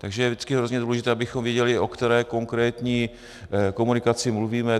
Takže vždycky je hrozně důležité, abychom věděli, o které konkrétní komunikaci mluvíme.